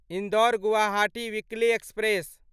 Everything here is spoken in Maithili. Indore Guwahati weekly express